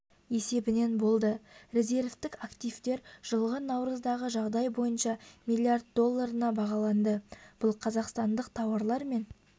есебінен болды резервтік активтер жылғы наурыздағы жағдай бойынша млрд долларына бағаланды бұл қазақстандық тауарлар мен